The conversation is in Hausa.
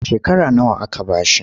Shekara nawa aka ba shi?